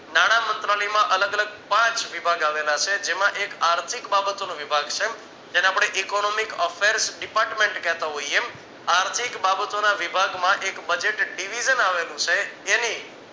નાણામંત્રાલયમાં અલગ અલગ પાંચ વિભાગ આવેલા છે જેમાં એક આર્થિક બાબતનો વિભાગ છે જેને આપણે economic offence department કેહતા હોઈએ આર્થિક બાબતોને વિભાગમાં એક budget Divide આવેલું છે એની